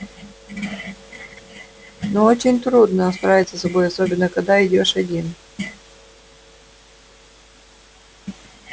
но очень трудно справиться с собой особенно когда идёшь один